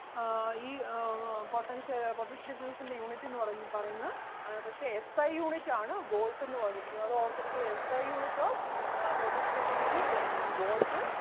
ആഹ് ഈ അഹ് ആഹ് potentia~ ആഹ് potential difference ൻ്റെ unit എന്ന് പറയു~ പറയുന്നത് അഹ് പക്ഷെ SIunit ആണ് volt എന്ന് പറഞ്ഞിരിക്കുന്നത് അത് ഓർത്ത് ഇരിക്കുക. SIunit of ആഹ് potential difference is ആഹ് Volt